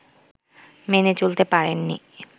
মেনে চলতে পারেননি